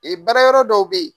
Ee baara yɔrɔ dɔw be yen.